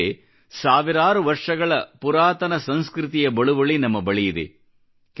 ಏಕೆಂದರೆ ಸಾವಿರಾರು ವರ್ಷಗಳ ಪುರಾತನ ಸಂಸ್ಕøತಿಯ ಬಳುವಳಿ ನಮ್ಮ ಬಳಿಯಿದೆ